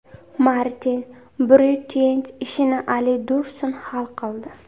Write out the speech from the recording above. Martin Breytueyt ishini Ali Dursun hal qildi.